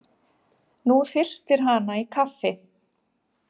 Nú þyrstir hana í kaffi.